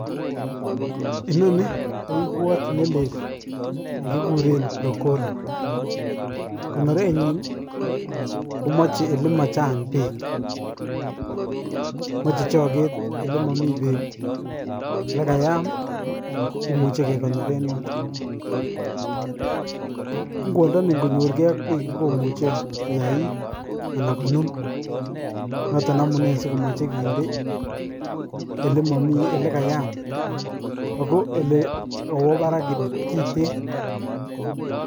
Inoni ko ngwot nelel ne kikuren prokole, konorenyin ii, komoje ole machang bek, moche choket ole komi bek, ole kayam ii kimuje kekonoren yoton, ngwondoni ingonyorke ak bek ii komuche koyait anan konun, noton amune ASI komoche kinde ole kayam ako ole kowe barak kiten